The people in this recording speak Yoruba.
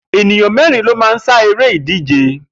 Ènìyàn mé̩rin ló máa ń sá eré ìdíje